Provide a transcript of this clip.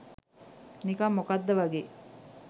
නිකං මොකද්ද වගේ.